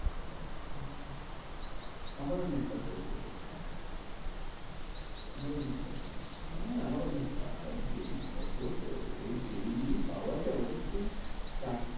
আচ্ছা আমারও net টা শেষ হয়ে গেছে। আমারও net টা হ্যাঁ আমারও net টা আহ daily কত day net পাওয়া যায় ওটা তুই চার